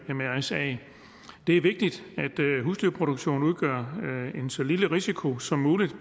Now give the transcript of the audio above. mrsa det er vigtigt at husdyrproduktionen udgør så lille en risiko som muligt